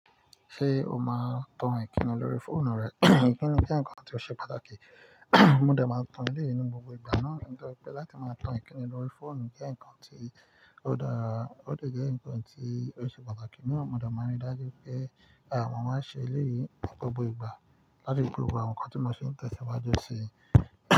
Ṣé o máa ń tan Ìkíni lórí fóònù rẹ? Ìkíni jẹ́ nǹkan tó ṣe pàtàkì, mo dẹ̀ máa ń tan eléyìí ní gbogbo ìgbà náà, ni torí pé láti máa tan Ìkíni lórí fóònù jẹ́ nǹkan tí ó dàra, ó dẹ̀ jẹ́ nǹkan tí ó ṣe pàtàkì. Emi naa mo de máa ń rí dájú pé, mo máa n ṣe elèyíi ní gbogbo ìgbà láti ri pe gbògbo àwọn nǹkan tí mo n se ń tẹ̀síwájú sí.